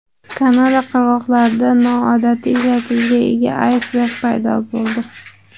Kanada qirg‘oqlarida noodatiy shaklga ega aysberg paydo bo‘ldi .